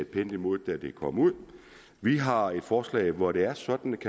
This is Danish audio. pænt imod da det kom ud vi har et forslag hvor det er sådan